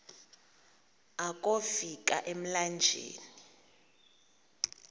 akofi ka emlanjeni